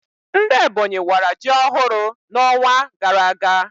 Ndị Ebonyi wara ji ọhụrụ na onwa gara aga